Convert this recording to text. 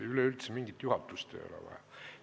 Ja üleüldse mingit juhatust ei ole vaja.